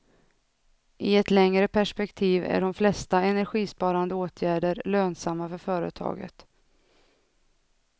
I ett längre perspektiv är de flesta energisparande åtgärder lönsamma för företaget.